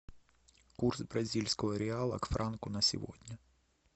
курс бразильского реала к франку на сегодня